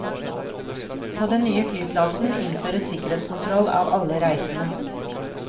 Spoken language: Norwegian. På den nye flyplassen innføres sikkerhetskontroll av alle reisende.